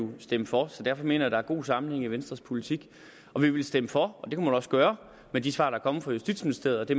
ville stemme for så derfor mener jeg der er god sammenhæng i venstres politik vi ville stemme for og det kunne man også gøre med de svar der er kommet fra justitsministeriet og det